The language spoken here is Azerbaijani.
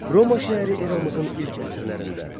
Roma şəhəri eramızın ilk əsrlərində.